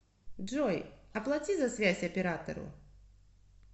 джой оплати за связь оператору